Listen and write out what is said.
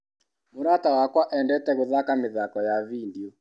Mũrata wakwa endete gũthaka mĩthako ya vindio.